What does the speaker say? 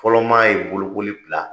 Fɔlɔ maa ye bolokoli bila